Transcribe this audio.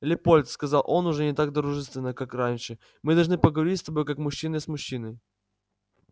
лепольд сказал он уже не так дружественно как раньше мы должны поговорить с тобой как мужчина с мужчиной